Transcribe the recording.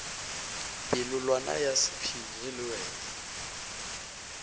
polelwana ya sephiri le wena